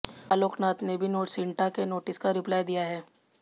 आलोकनाथ ने भी सिन्टा के नोटिस का रिप्लाय दिया है